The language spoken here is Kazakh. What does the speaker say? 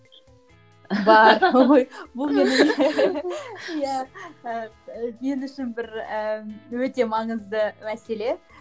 бар ой бұл менің иә ііі мен үшін бір ііі өте маңызды мәселе